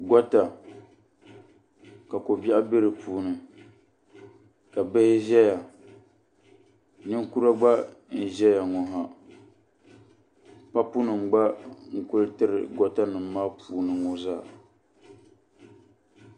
Gota ka ko bɛaɣu bɛ di puuni ka bihi zɛya ninkura gba n zɛya ŋɔ ha paɣi nima gba n kuli tiri gota nima maa puuni ŋɔ zaa.